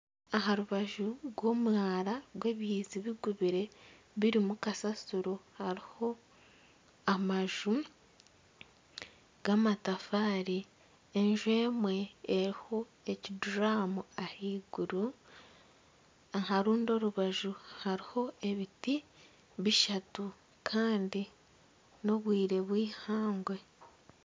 Amaju ashatu gari aha rubaju rw'oruguuto enju emwe ekyahamukono gwa bumosho esigire erangi erikutukura, omu maisho g'enju esigire erangi erikutukura harimu ekikondo kyamashanyarazi nana obutebe obukozirwe omu biti .